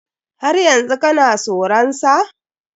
Har yanzu kana soran sa?